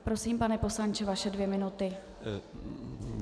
Prosím, pane poslanče, vaše dvě minuty.